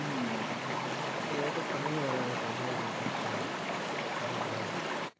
এই বছর আমিও বাইরা যেতাম ভাই কিন্তু আর তো হল না আরও দুই বছর